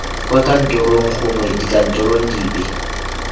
kwa kantorong gongwe dikantorong dipe